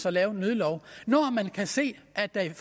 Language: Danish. og lave en nødlov når man kan se at der er